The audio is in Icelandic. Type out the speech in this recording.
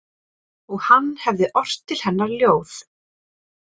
Og hann hefði ort til hennar ljóð.